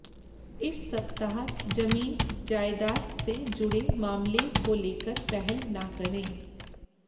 इस सप्ताह जमीन जायदाद से जुड़े मामले को लेकर पहल न करें